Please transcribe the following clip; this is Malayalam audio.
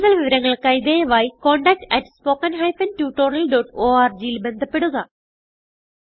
കുടുതൽ വിവരങ്ങൾക്കായി ദയവായി contactspoken tutorialorgൽ ബന്ധപ്പെടുക